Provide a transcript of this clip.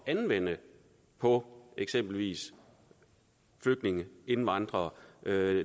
at anvende på eksempelvis flygtninge indvandrere